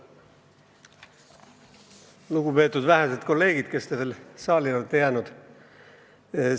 Lugupeetud vähesed kolleegid, kes te veel saali olete jäänud!